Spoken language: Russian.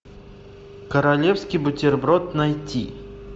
королевский бутерброд найти